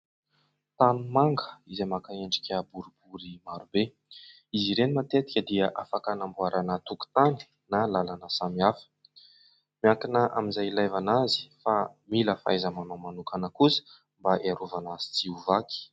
Tanimanga izay maka endrika boribory maro be, izy ireny matetika dia afaka hanamboarana tokotany na lalana samy hafa, miankina amin'izay ilavana azy fa mila fahaiza-manao manokana kosa mba hiarovana azy tsy ho vaky.